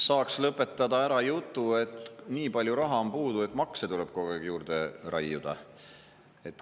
Saaks lõpetada ära jutu, et nii palju raha on puudu, et makse tuleb kogu aeg juurde raiuda.